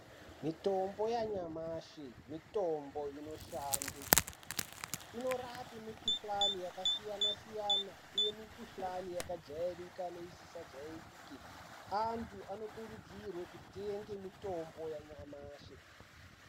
Mitombo yanyamashi mitombo inoshande. Inorape mikhuhlani yakasiyana- siyana ,uye mikhuhlani yakajairika neisisajairike. Antu anokurudzirwe kutenge mitombo yanyamashi.